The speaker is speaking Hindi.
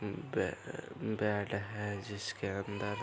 उम्म बे बेड है जिसके अंदर --